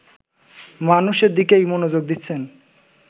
মানুষের দিকেই মনোযোগ দিচ্ছেন